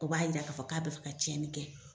O b'a yira k'a fɔ k'a be fɛ ka cɛni kɛ